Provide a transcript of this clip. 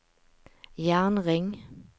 jernring